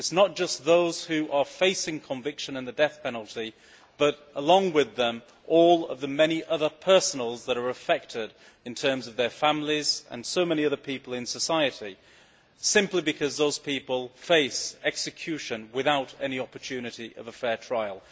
It is not just about those who are facing conviction and the death penalty but, along with them, all the many others that are affected, their families and so many other people in society, simply because those people face execution without any opportunity of a fair trial.